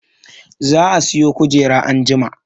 Za a siyo kujera anjima